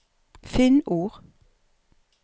Finn ord